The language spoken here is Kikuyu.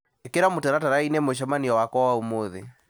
ĩkĩra mũtaratara-inĩ mũcemanio wakwa wa ũmũthĩ